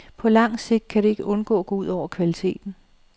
På langt sigt kan det ikke undgå at gå ud over kvaliteten.